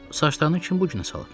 Saçlarını kim bu günə salıb?